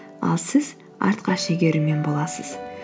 ал сіз артқа шегерумен боласыз